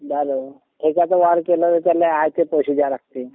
ठेक्याचा व्यवहार केला कि त्याला आयते पैशे द्यावे लागते.